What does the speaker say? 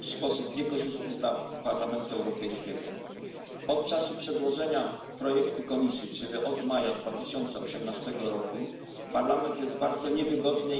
w sposób niekorzystny dla Parlamentu Europejskiego. Od czasu przedłożenia projektu Komisji, czyli od maja 2018 roku, Parlament jest w bardzo niewygodnej